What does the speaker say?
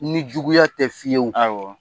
Ni juguya tɛ fiyewu. Awɔ.